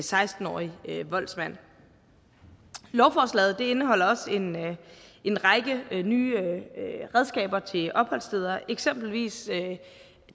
seksten årig voldsmand lovforslaget indeholder også en en række nye redskaber til opholdssteder eksempelvis